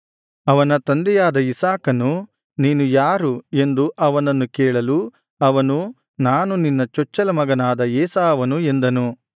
ಅವನ ತಂದೆಯಾದ ಇಸಾಕನು ನೀನು ಯಾರು ಎಂದು ಅವನನ್ನು ಕೇಳಲು ಅವನು ನಾನು ನಿನ್ನ ಚೊಚ್ಚಲ ಮಗನಾದ ಏಸಾವನು ಎಂದನು